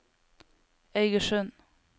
Eigersund